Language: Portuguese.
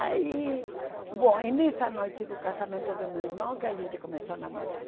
Aí, bom, é nessa noite do casamento do meu irmão que a gente começou a namorar.